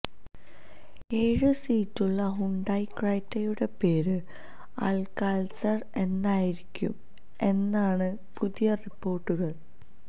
ഏഴ് സീറ്റുള്ള ഹ്യുണ്ടായ് ക്രെറ്റയുടെ പേര് അൽകാള്ട്സർ എന്നായിരിക്കും എന്നാണ് പുതിയ റിപ്പോര്ട്ടുകള്